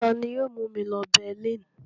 Ta ni yóò mú mi lọ Berlin?